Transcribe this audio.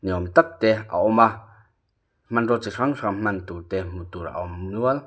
ni awm tak te a awm a hmanraw chi hrang hrang hman turte hmuh tur a awm nual.